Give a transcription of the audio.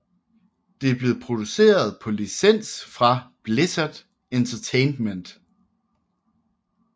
Det blev produceret på licens fra Blizzard Entertainment